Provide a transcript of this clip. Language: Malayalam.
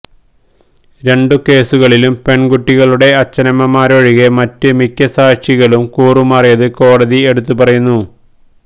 രണ്ട് കേസുകളിലും പെൺകുട്ടികളുടെ അച്ഛനമ്മമാരൊഴികെ മറ്റ് മിക്ക സാക്ഷികളും കൂറുമാറിയത് കോടതി എടുത്തു പറയുന്നു